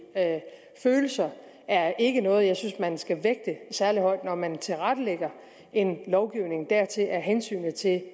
følelser er ikke noget jeg synes man skal vægte særlig højt når man tilrettelægger en lovgivning hensynet til